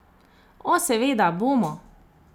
O, seveda bomo.